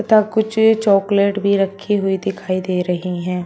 तथा कुछ चॉकलेट भी रखी हुई दिखाई दे रही हैं।